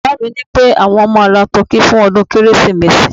baba mi nipé àwọn ma ra tọki fún ọdún kérésìmesì